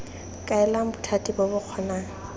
kaelang bothati bo bo kgonang